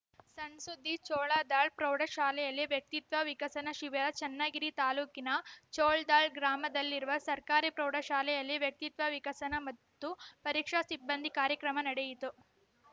ಸಣ್‌ ಸುದ್ದಿ ಜೋಳದಾಳ್‌ ಪ್ರೌಢಶಾಲೆಯಲ್ಲಿ ವ್ಯಕ್ತಿತ್ವ ವಿಕಸನ ಶಿಬಿರ ಚನ್ನಗಿರಿ ತಾಲೂಕಿನ ಜೋಳದಾಳ್‌ ಗ್ರಾಮದಲ್ಲಿರುವ ಸರ್ಕಾರಿ ಪ್ರೌಢಶಾಲೆಯಲ್ಲಿ ವ್ಯಕ್ತಿತ್ವ ವಿಕಸನ ಮತ್ತು ಪರೀಕ್ಷಾ ಸಿಬಂದಿ ಕಾರ್ಯಕ್ರಮ ನಡೆಯಿತು